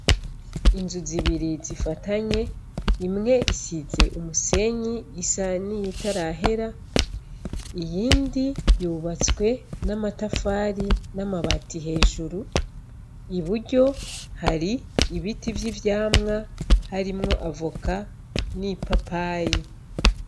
Inzu zibiri zifatanye imwe isize umusenyi isa n'iyitarahera iyindi yubatswe n'amatafari n'amabati hejuru i buryo hari ibiti vy' ivyamwa harimwo avoka n'ipapayi.